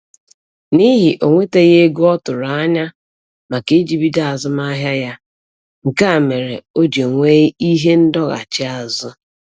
N'ihi o nwetaghị ego ọ tụrụ anya maka iji bido azụmahịa ya, nke a mere o ji nwee ihe ndọghachi azụ